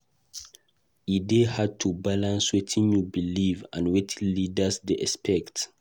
E dey hard to balance wetin you believe and wetin leaders dey expect.